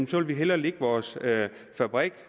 så vil vi hellere lægge vores fabrik